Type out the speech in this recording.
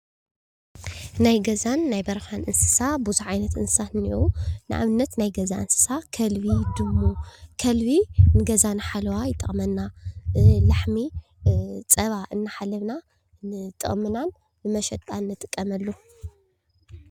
ናይ ገዛን ናይ በረኻን እንስሳን ብዝሕ ዓይነት እንስሳ አለው፡፡ ንኣብነት ናይ ገዛ እንስሳ ከልቢ ፣ድሙ። ከልቢ ንገዛና ሓለዋ ይጠቕመና፣ ላሕሚ ፀባ እናሓለብና ንጠቕምናን መሸጣን ንጥቀመሉ፡፡